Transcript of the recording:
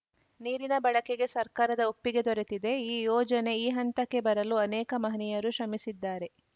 ನೀರಿನ ಬಳಕೆಗೆ ಸರ್ಕಾರದ ಒಪ್ಪಿಗೆ ದೊರೆತಿದೆ ಈ ಯೋಜನೆ ಈ ಹಂತಕ್ಕೆ ಬರಲು ಅನೇಕ ಮಹನೀಯರು ಶ್ರಮಿಸಿದ್ದಾರೆ